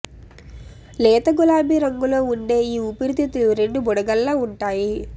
లేత గులాబీ రంగులో ఉండే ఈ ఊపిరితిత్తులు రెండు బుడగల్లా ఉంటాయి